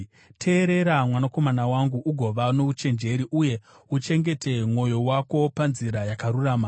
Teerera, mwanakomana wangu, ugova nouchenjeri, uye uchengete mwoyo wako panzira yakarurama.